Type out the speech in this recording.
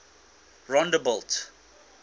rondebult